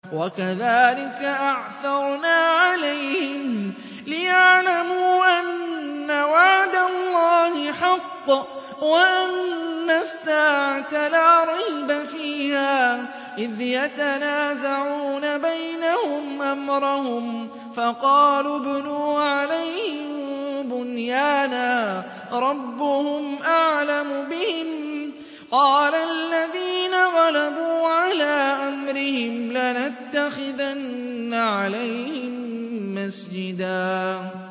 وَكَذَٰلِكَ أَعْثَرْنَا عَلَيْهِمْ لِيَعْلَمُوا أَنَّ وَعْدَ اللَّهِ حَقٌّ وَأَنَّ السَّاعَةَ لَا رَيْبَ فِيهَا إِذْ يَتَنَازَعُونَ بَيْنَهُمْ أَمْرَهُمْ ۖ فَقَالُوا ابْنُوا عَلَيْهِم بُنْيَانًا ۖ رَّبُّهُمْ أَعْلَمُ بِهِمْ ۚ قَالَ الَّذِينَ غَلَبُوا عَلَىٰ أَمْرِهِمْ لَنَتَّخِذَنَّ عَلَيْهِم مَّسْجِدًا